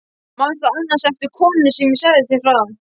Manstu annars eftir konunni sem ég sagði þér frá?